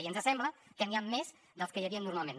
i ens sembla que n’hi ha més dels que hi havia normalment